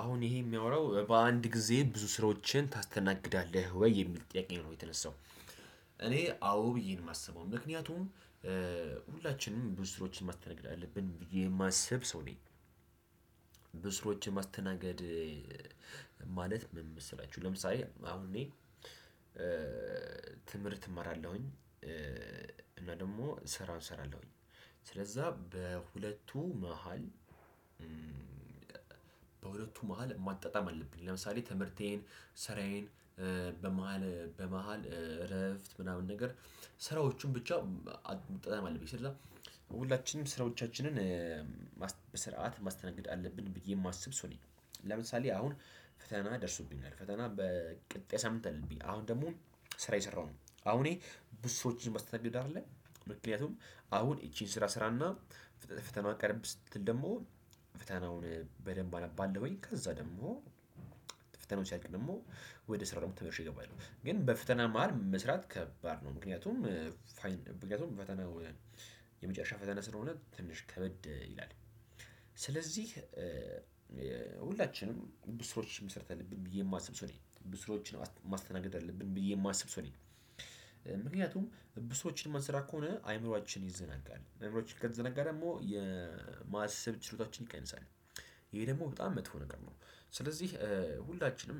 አሁን ይሄ የሚያወራው በአንድ ጊዜ ብዙ ስራዎችን ታስተናግዳለህ ወይ የሚል ጥያቄ ነው የተነሳው። እኔ አዎ ብዬን የማስበው ምክንያቱም። ሁላችንም ብዙ ስራወችን ማስተካከል አለብን ብዬ የማስብ ሰው ነኝ። ብስሮችን ማስተናገድ። ማለት ምን መሰላችሁ? ለምሳሌ አሁን እኔ ትምህርት እማራለሁኝ እና ደግሞ ስራ እሰራለሁኝ። ስለዛ በሁለቱ መሃል በሁለቱ መሃል ማጣጣም አለብኝ። ለምሳሌ ትምህርቴን ስራዬን በመሃል በመሃል እረፍት ምናምን ነገር ስራዎቹን ብቻ መጠጣጠም አለብኝ። ስለዚህ ሁላችንም ስራዎቻችንን በስርዓት ማስተናገድ አለብን ብዬ የማስብ ሰው ነኝ። ለምሳሌ አሁን ፈተና ደርሱብኛል ፈተና በ ቀጣይ ሳምን አለብኝ። አሁን ደግሞ ስራ እየሰራሁ ነው። አሁን እኔ ብዙ ሰወች ማስተናገድ አይደለም። ምክንያቱም አሁን ይቺን ስራ ስራና ፈተና ቀርብ ስትል ደግሞ ፈተናውን በደንብ አነባለሁኝ። ከዛ ደግሞ ፈተናው ሲያልቅ ደግሞ ወደ ስራው ዓለመ ተመልሼ እገባሁ። ግን በፈተና መሃል መስራት ከባድ ነው። ምክንያቱም ፋይን ምክንያቱም ፈተና የመጨረሻ ፈተና ስለሆነ ትንሽ ከበድ ይላል። ስለዚህ ሁላችንም ብዙ ስራወች መስራት አለብን ብዬ የማስብ ሰው ነኝ ብሱ ስራወች ማስተናገድ አለብኝ ብዬ የማስብ ሰውኔ። ምክንያቱም ብዙ ስራወችን የማንሰራ ከሆነ አይምሮአችን ይዘናጋል አይምሮአችን ከተዘናጋ ደግሞ የማሰብ ችሎታችን ይቀንሳል። ይሄ ደግሞ በጣም መጥፎ ነገር ነው። ስለዚህ ሁላችንም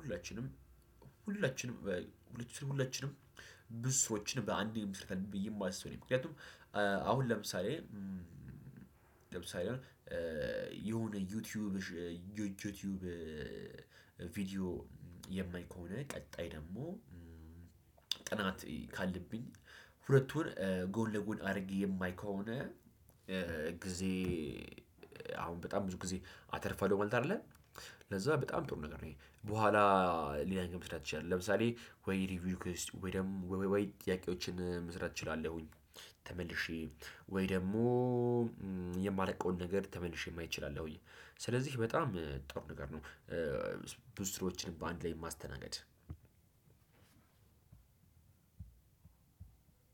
ሁላችንም ሁላችንም ሁላችንም ብዙ ስራወችን በአንድየ ብዬ የማስብ ነኝ። ምክንያቱም አሁን ለምሳሌ ለምሳሌ የሆነ ዩቲዩብ ዩቲዩብ ቪዲዮ የማይ ከሆነ ቀጣይ ደግሞ ጥናት ካለብኝ ሁለቱን ጎን ለ ጎን አድርጌ የማይ ከሆነ ጊዜ አሁን በጣም ብዙ ጊዜ አተርፋለው ማለት አይደለ ለዛ በጣም ጥሩ ነገር ነው። ይሄ በኋላ ለያኛው መስራት ትችላለህ። ለምሳሌ ወይ ሪቪው ኪውዝ ወይ ደግሞ ወይ ጥያቄዎችን መስራት እችላለሁኝ። ተመልሼ ወይ ደግሞ የማላቀውን ነገር ተመልሼ ማየት እችላለሁኝ። ስለዚህ በጣም ጥሩ ነገር ነው። ብዙ ስራወችን በአንድ ላይ ማስተናገድ